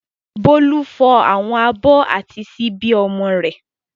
Bólú fọ àwọn abọ́ àti ṣíbí ọmọ rẹ̀.